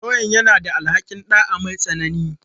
Lauyan yana da alhaƙin ɗa'a mai tsanani.